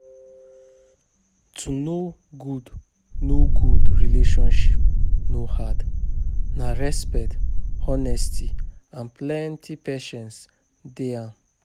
To know good know good relationship no hard, na respect, honesty, and plenty patience dey am.